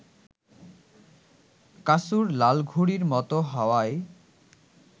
কাসুর লাল ঘুড়ির মত হাওয়ায়